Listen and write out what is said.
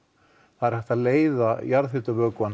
það er hægt að leiða